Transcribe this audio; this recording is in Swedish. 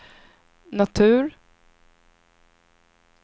natur